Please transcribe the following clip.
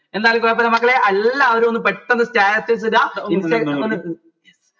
എന്തായാലും കൊയപ്പില്ല മക്കളെ എല്ലാവരും ഒന്ന് പെട്ടെന്ന് status ഇട